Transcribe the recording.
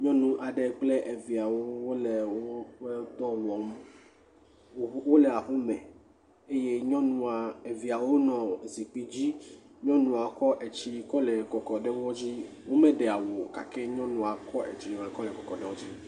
Nyɔnu aɖe kple eviawo wole woƒe dɔ wɔm, wole aƒe me eye nyɔnua eviawo nɔ zikpui dzi eye nyɔnua kɔ etsi kɔ nɔ kɔkɔm ɖe wo dzi, womeɖe awu o gake nyɔnua kɔ etsi gakɔ le kɔkɔ ɖe wo dzi.